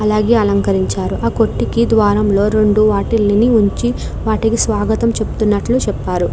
అలాగే అలంకరించారు ఆ కొట్టుకి ద్వారం లో రెండు వాటిలిని ఉంచు వాటికి స్వాగతం చెప్తునట్లు చెప్పారు.